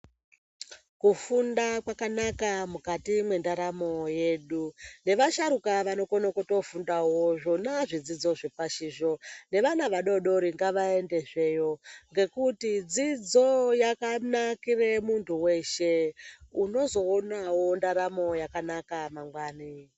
Kufunda kwakanaka mukati mwe ndaramo yedu ne vasharuka vano kone kuto fundawo zvona zvidzidzo zve pashi zvo ne vana vadodori ngava ende zveyo ngekuti dzidzo yaka nakire muntu weshe unozoonawo ndaramo yakanaka mangwani.